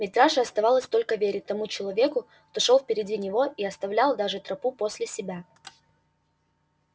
митраше оставалось только верить тому человеку кто шёл впереди него и оставил даже тропу после себя